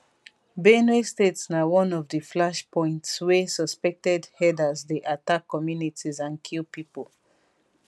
benue state na one of di flash points wey suspected herders dey attack communities and kill pipo